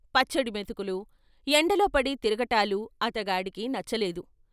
పచ్చడి మెతుకులూ, ఎండలో పడి తిరగటాలు అతగాడికి నచ్చలేదు.